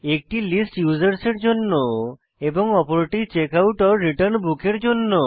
একটি list users এর জন্য এবং অপরটি checkoutরিটার্ন বুক এর জন্য